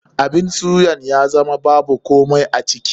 Abun suyan ya zama babu komai a ciki.